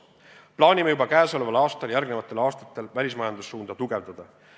Plaanime juba käesoleval aastal ja järgmistel aastatel välismajandussuunda tugevdada.